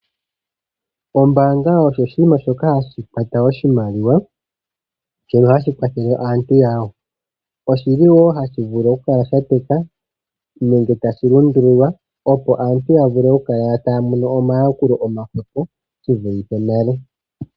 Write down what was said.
Ombaanga osho oshinima shoka hashi kwata oshimaliwa shono hashi kwathele aantu yawo. Oshili wo hashi vulu oku kala sha teka nenge tashi lundululwa opo aantu ya vule oku kala taya mono omayakulo oma hwepo shi vulithe nale.